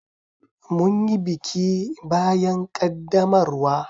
Mun yi biki bayan ƙaddamarwa.